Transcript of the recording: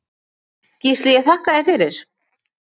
Gísli ég þakka þér fyrir.